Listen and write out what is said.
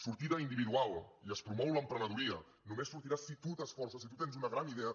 sortida individual i es promou l’emprenedoria només sortirà si tu t’esforces si tu tens una gran idea